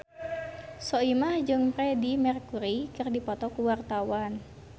Soimah jeung Freedie Mercury keur dipoto ku wartawan